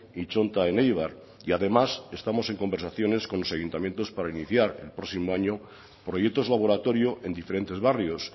y txonta en eibar y además estamos en conversaciones con los ayuntamientos para iniciar el próximo año proyectos laboratorio en diferentes barrios